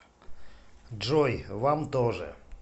джой вам тоже